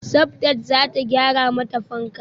Sabdat zata gyara mata fanka